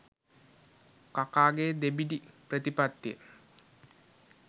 කකාගේ දෙබිඩි ප්‍රතිපත්තිය.